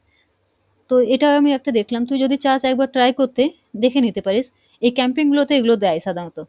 তো এটার আমি একটা দেখলাম তুই যদি চাস একবার try করতে দেখে নিতে পারিস, এই camping গুলোতে এগুলো দেই সাধারণত।